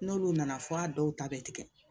N'olu nana fɔ a dɔw ta bɛ tigɛ